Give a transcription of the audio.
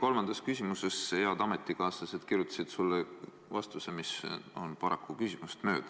Kolmandas küsimuses head ametikaaslased kirjutasid sulle vastuse, mis on paraku küsimusest mööda.